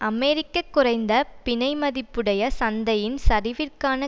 அமெரிக்க குறைந்த பிணைமதிப்புடைய சந்தையின் சரிவிற்கான